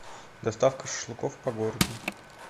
доставка шашлыков по городу